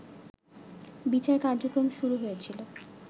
বিচার কার্যক্রম শুরু হয়েছিল